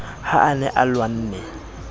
ha a ne a lwanne